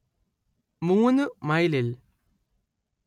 മൂന് മൈലിൽ